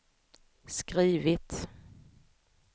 skrivit